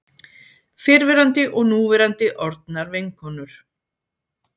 Fyrrverandi og núverandi orðnar vinkonur